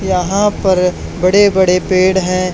यहां पर बड़े बड़े पेड़ हैं।